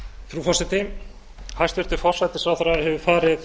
frú forseti hæstvirtur forsætisráðherra hefur farið